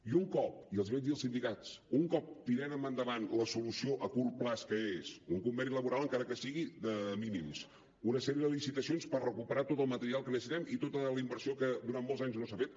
i un cop i els hi vaig dir als sindicats tirem endavant la solució a curt termini que és un conveni laboral encara que sigui de mínims una sèrie de licitacions per recuperar tot el material que necessitem i tota la inversió que durant molts anys no s’ha fet